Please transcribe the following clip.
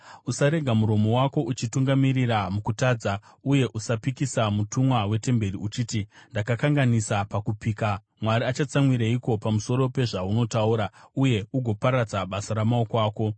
Usaregera muromo wako uchikutungamirira mukutadza. Uye usapikisa mutumwa wetemberi uchiti, “Ndakakanganisa pakupika.” Mwari achatsamwireiko pamusoro pezvaunotaura, uye agoparadza basa ramaoko ako?